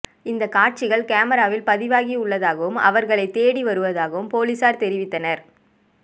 இந்த காட்சிகள் கேமராவில் பதிவாகியுள்ளதாகவும் அவர்களை தேடி வருவதாகவும் போலீசார் தெரிவித்தனர்